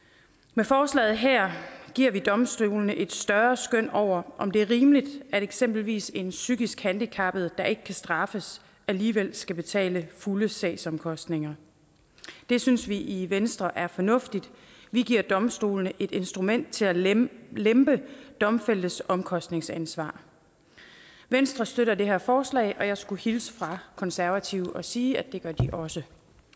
med forslaget her giver vi domstolene et større skøn over om det er rimeligt at eksempelvis en psykisk handicappet der ikke kan straffes alligevel skal betale fulde sagsomkostninger det synes vi i venstre er fornuftigt vi giver domstolene et instrument til at lempe lempe domfældtes omkostningsansvar venstre støtter det her forslag og jeg skulle hilse fra konservative og sige at det gør de også